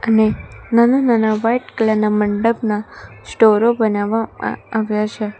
ને નાના નાના વાઈટ કલર ના મંડપના સ્ટોરો બનાવવા આવ્યા છે.